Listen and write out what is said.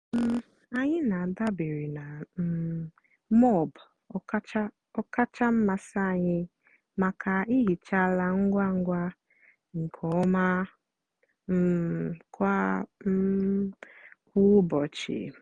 um ànyị́ na-àdabèrè na um móop ọ́kàchà mmasị́ ànyị́ maka ìhìcha àla ngwá ngwá na nkè ọ́ma um kwá um kwá ụ́bọ̀chị́.